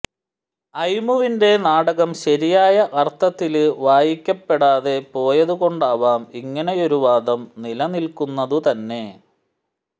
അയ്മുവിന്റെ നാടകം ശരിയായ അര്ത്ഥത്തില് വായിക്കപ്പെടാതെ പോയതുകൊണ്ടാവാം ഇങ്ങിനെയൊരു വാദം നിലനില്ക്കുന്നതു തന്നെ